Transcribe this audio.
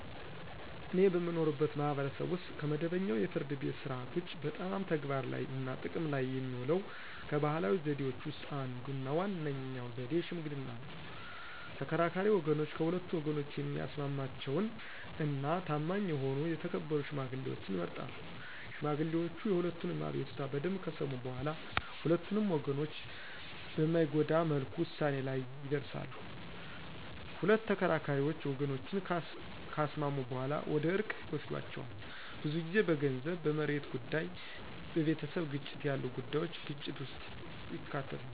እኔ በምኖርበት ማህበረሰብ ውስጥ ከመደበኛው የፍርድ ቤት ሥርዓት ውጪ በጣም ተግባር ላይ እና ጥቅም ላይ የሚውለው ከባህላዊ ዘዴዎች ውስጥ አንዱ እና ዋነኛው ዘዴ ሽምግልና ነው። ተከራካሪ ወገኖች ከሁለቱ ወገኖች የሚስማማቸውን እና ታማኝ የሆኑ የተከበሩ ሽማግሌዎችን ይመርጣሉ። ሽማግሌዎቹ የሁለቱንም አቤቱታ በደምብ ከሰሙ በኋላ ሁለቱንም ወገኖች በማይጎዳ መልኩ ውሳኔ ላይ ይደርሳሉ። ሁለት ተከራካሪ ወገኖችን ካስማሙ በኋላ ወደ እርቅ ይወስዷቸዋል። ብዙ ጊዜ በገንዘብ፣ በመሬት ጉዳይ፣ በቤተሰብ ግጭት ያሉ ጉዳዩች ግጭት ውስጥ ይከታሉ።